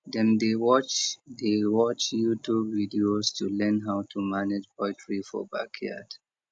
dem dey watch dey watch youtube videos to learn how to manage poultry for backyard